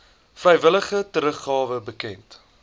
vrywillige teruggawe bekend